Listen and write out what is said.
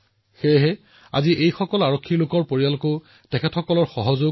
আনকি কেন্দ্ৰীয় সশস্ত্ৰ আৰক্ষী বাহিনীতো যোৱা সাত বছৰত মহিলাৰ সংখ্যা প্ৰায় দুগুণ হৈছে